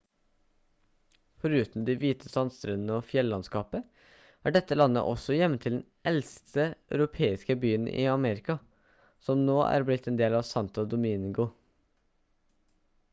foruten de hvite sandstrendene og fjellandskapet er dette landet også hjemmet til den eldste europeiske byen i amerika som nå har blitt en del av santo domingo